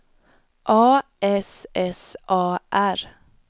A S S A R